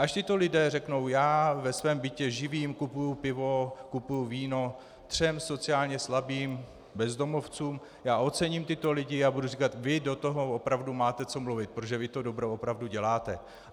Až tito lidé řeknou "já ve svém bytě živím, kupuji pivo, kupuji víno třem sociálně slabým, bezdomovcům", já ocením tyto lidi a budu říkat "vy do toho opravdu máte co mluvit, protože vy to dobro opravdu děláte".